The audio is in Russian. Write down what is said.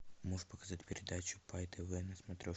можешь показать передачу пай тв на